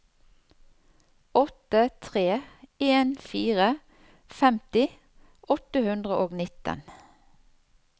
åtte tre en fire femti åtte hundre og nitten